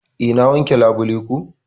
Eh na wanke labule ko.